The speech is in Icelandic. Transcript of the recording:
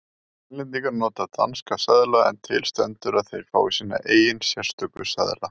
Grænlendingar nota danska seðla en til stendur að þeir fái sína eigin sérstöku seðla.